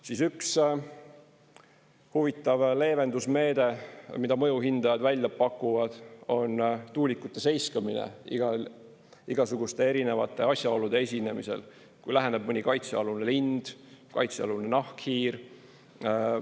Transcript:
Siis üks huvitav leevendusmeede, mida mõju hindajad välja pakuvad, on tuulikute seiskamine igasuguste erinevate asjaolude esinemisel: kui läheneb mõni kaitsealune lind, kaitsealune nahkhiir.